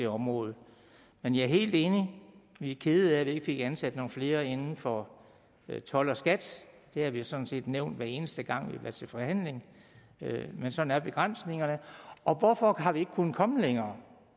det område men jeg er helt enig vi er kede af vi ikke fik ansat nogle flere inden for told og skat det har vi sådan set nævnt hver eneste gang vi har været til forhandling men sådan er begrænsningerne og hvorfor har vi ikke kunnet komme længere